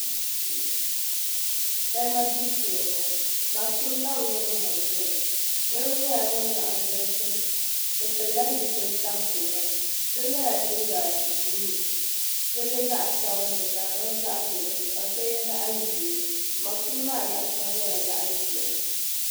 Salima gbibu shee m bo ŋɔ masheni ka bi nye ŋun mali gbiri li niribi nyela ban laɣim ʒi di gbuni bɛ pilila zipili tampilima so yela liiga buluu ka so ye zaɣsabinli ka di niŋ zaɣdozim ka so ye zaɣʒee mashini maa yaɣashɛŋa nyela zaɣʒehi.